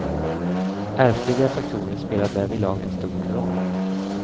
Ärftliga faktorer spelar därvidlag en stor roll.